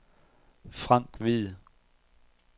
Frank Hvid